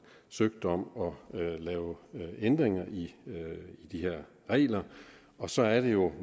søgt om at lave ændringer i de her regler og så er det jo